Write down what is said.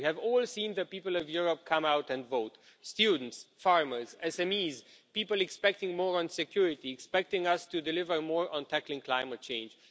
We have all seen the people of Europe come out and vote students, farmers, SMEs, people expecting more on security, expecting us to deliver more on tackling climate change.